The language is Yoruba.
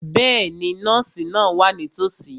Bẹ́ẹ̀ni, nọ́ọ̀sì náà wà nítòsí.